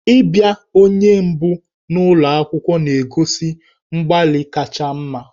Ịbịa onye mbụ n'ụlọ akwụkwọ na-egosi mgbalị kacha mma.